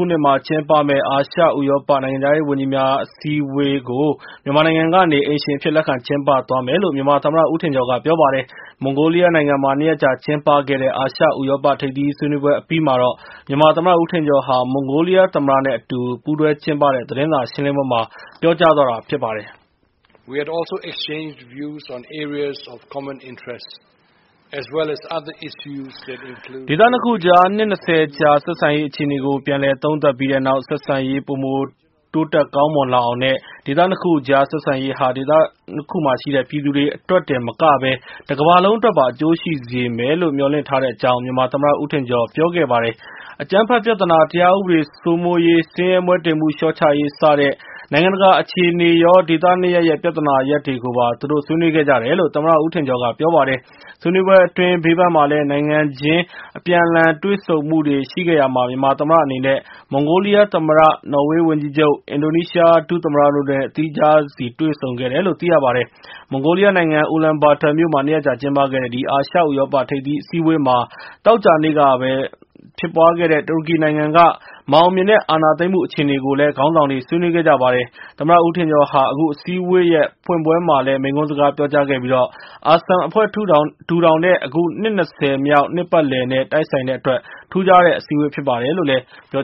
ုနှစ်မှာ ကျင်းပမယ့် အာရှ ဥရောပ နိုင်ငံခြားရေးဝန်ကြီးများ အစည်းအဝေး ကို မြန်မာနိုင်ငံကနေ အိမ်ရှင်အဖြစ် လက်ခံကျင်းပသွားမယ်လို့ မြန်မာသမ္မတ ဦးထင်ကျော် ကပြောပါတယ်။ မွန်ဂိုလီးယား နိုင်ငံမှာ နှစ်ရက်ကြာကျင်းပခဲ့တဲ့ အာရှ ဥရောပ ထိပ်သီး ဆွေးနွေးပွဲ အပြီးမှာ မြန်မာ သမ္မတ ဦးထင်ကျော်ဟာ မွန်ဂိုလီးယား သမ္မတ နဲ့အတူ ပူးတွဲ ကျင်းပတဲ့ သတင်းစာရှင်းလင်းပွဲမှာ ပြောသွားတာဖြစ်ပါတယ်။ ဒေသ နှစ်ခုအကြား နှစ် ၂၀ ကြာ ဆက်ဆံရေး အခြေအနေကို ပြန်လည် သုံးသပ် ပြီးတဲ့နောက်၊ ဆက်ဆံရေး ပိုမို တိုးတက် ကောင်းမွန်လာအောင် နဲ့ ဒေသနှစ်ခု အကြား ဆက်ဆံရေးဟာ ဒေသနှစ်ခုမှာရှိတဲ့ ပြည်သူတွေ အတွက်တင်မကပဲ တကမ္ဘာလုံး အတွက်ပါ အကျိုးရှိစေမယ် လို့ မျှော်လင့်ထားတဲ့ အကြောင်း မြန်မာ သမ္မတ ဦးထင်ကျော်က ပြောခဲ့ပါတယ်။ အကြမ်းဖက် ပြဿနာ တရားဥပဒေ စိုးမိုးရေး ဆင်းရဲမွဲတေမှု လျှော့ချရေး စတဲ့ နိုင်ငံတကာ အခြေအနေရော ဒေသနှစ်ရပ်ရဲ့ ပြဿနာရပ်တွေကိုပါ သူတို့ ဆွေးနွေးခဲ့ကြတယ်လို့ သမ္မတ ဦးထင်ကျော် က ပြောပါတယ်။ ဆွေးနွေးပွဲ အတွင်း ဘေးပန်းမှာလည်း နိုင်ငံချင်း အပြန်အလှန် တွေ့ဆုံမှုတွေ ရှိခဲ့ရာမှာ မြန်မာ သမ္မတအနေနဲ့ မွန်ဂိုလီးယား သမ္မတ နော်ဝေး၀န်ကြီးချုပ် အင်ဒိုနီးရှား ဒု သမ္မတ တို့နဲ့ သီးခြားစီ တွေ့ဆုံခဲ့တယ်လို့ သိရပါတယ်။ မွန်ဂိုလီယားနိုင်ငံ အူလန်ဘာတာမြို့မှာ နှစ်ရက်တာကျင်းပခဲ့တဲ့ ဒီ အာရှ ဥရောပ ထိပ်သီး အစည်းအဝေးမှာ သောကြာနေ့ကပဲ ဖြစ်ပွားခဲ့တဲ့ တူရကီနိုင်ငံက မအောင်မြင်တဲ့ အာဏာသိမ်းမှု အခြေအနေ ကိုလည်း ခေါင်းဆောင်တွေ ဆွေးနွေး ခဲ့ကြ ပါတယ်။ သမ္မတ ဦးထင်ကျော်ဟာ အခု အစည်းအဝေးရဲ့ ဖွင့်ပွဲမှာလည်း မိန့်ခွန်း စကားပြောကြားခဲ့ပြီး၊ ASEM အဖွဲ့ ထူထောင်တဲ့ အခု နှစ် ၂၀မြောက် နှစ်ပတ်လည်နဲ့ တိုက်ဆိုင်တဲ့အတွက် ထူးခြားတဲ့ အစည်းအဝေး ဖြစ်ပါတယ်လို့ ပြော